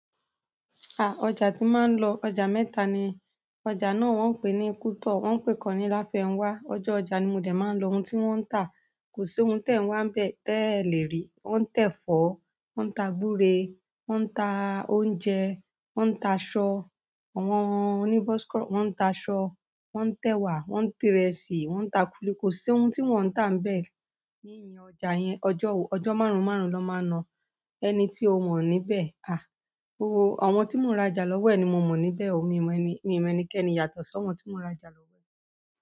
Ah! Ọjà tí màá n lọ, ọjà mẹ́ta ni. Ọjà náà wọn pé ni kutọ wọn pe ikan ni Lafẹnwa. Ọjọ́ ọjà ni mo dé máa ń lọ. Ohun tí wón ń tà, kò sí ohun tẹ ń wá ń bẹ tẹ lé rí. Wọn ń tẹ̀fọ́, wọn ń ta gúre, wọn ń ta oúnjẹ, wọn ń ta aṣọ, àwọn oní bọs- wọn ń ta aṣọ, wọn ń tẹwàá, wọn ń tìrẹ síí, wọn ń ta kuli-kuli, kò sí ohun tí wọn tà ń bẹ ní ìyín ọjà yẹn. Ọjọ́ máru-máru na máa ń na, ẹni tí o mọ̀ níbẹ̀. Ah! Àwọn tí mò ń rajà lọ́wọ́ ni mo mọ̀ níbẹ̀ o, mi ò mọ ẹni, mi ò mọ ẹnikẹ́ni yàtọ̀ sí àwọn tí mò ń rajà lọ́wọ́.